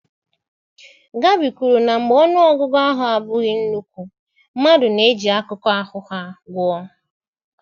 Gabi kwuru na mgbe ọnụ ọgụgụ ahụ abụghị nnukwu mmadụ na-eji akụkụ ahụ ha gụọ.